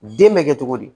Den bɛ kɛ cogo di